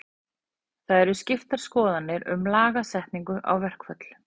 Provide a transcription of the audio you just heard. Það eru skiptar skoðanir um lagasetningu á verkföll.